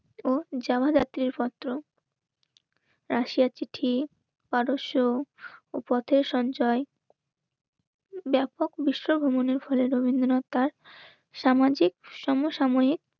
ও যাওয়া জাতির পত্র. রাশিয়া তিথি, পারদর্শ ও পথের সঞ্চয়. ব্যাপক বিশ্ব ভ্রমণের ফলে রবীন্দ্রনাথ তার সামান সামাজিক সমসাময়িক